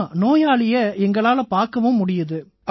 ஆமா நோயாளியை எங்களால பார்க்கவும் முடியுது